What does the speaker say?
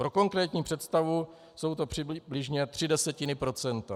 Pro konkrétní představu, jsou to přibližně tři desetiny procenta.